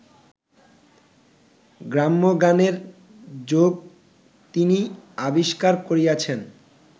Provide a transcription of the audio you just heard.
গ্রাম্যগানের যোগ তিনি আবিষ্কার করিয়াছেন